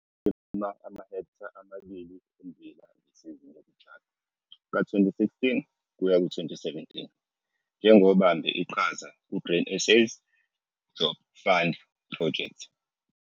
Walima amahektha amabili ommbila ngesizini yokutshala ka-2016 kuya 2017 njengobambe iqhaza ku-Grain SA's Job Fund Project.